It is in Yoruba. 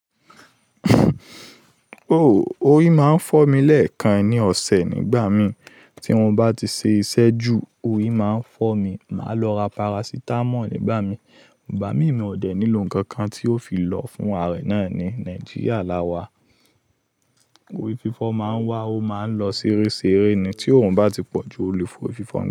Oòh, orí máa ń fọ́ mi lẹ́ẹ̀kan ní ọ̀sẹ̀ nígbà mi tí mo bá ti ṣe iṣẹ́ jù, orí máa ń fọ́ mi. Màá lọ ra parasitamọ́ọ̀ nígbà mi, igbà mí mi ò dẹ̀ nílò nǹkan kan tí ó fi lọ fún àárẹ̀ náà ní Nàìjíríà la wà. Orí fífọ́ máa ń wá, ó máa ń lọ ṣẹrẹ ṣerẹ ni tí òrun bá ti pọ̀ jù olè fa orfífọ́.